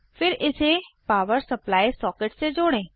फिर इसे power supply socket से जोड़ें